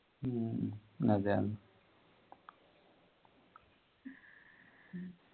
ഉം അതെ അതെ